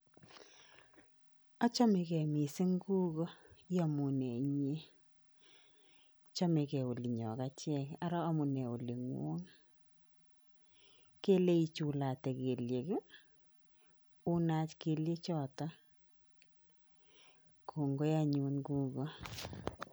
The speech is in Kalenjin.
Achamegei mising kugo iamunee inye? Chamegei olinyo achek ara amu nee olingwong? kele ichulate kelyek ii, kelye choto, kongoi anyun kugo.